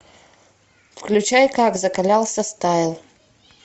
включай как закалялся стайл